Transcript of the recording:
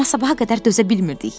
Amma sabaha qədər dözə bilmirdik.